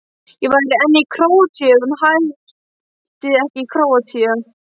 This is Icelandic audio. Ég væri enn í Króatíu ef hún héti ekki Króatía.